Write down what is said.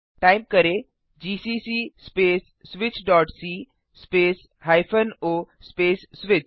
type करें160 GCC space switchसी space o space switch